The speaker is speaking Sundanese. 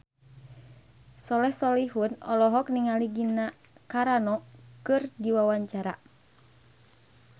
Soleh Solihun olohok ningali Gina Carano keur diwawancara